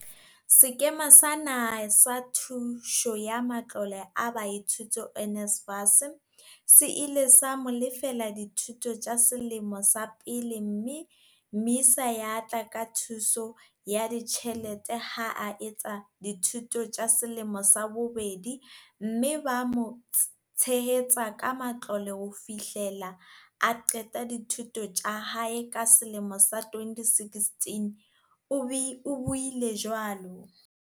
Sekema sa Naha sa Thuso ya Matlole a Baithuti NSFAS, se ile sa mo lefella dithuto tsa selemo sa pele mme MISA ya tla ka thuso ya ditjhelete ha a etsa dithuto tsa selemo sa bobedi mme ba mo tshehetsa ka matlole ho fihlela a qeta dithuto tsa hae ka selemo sa 2016, o buile jwalo.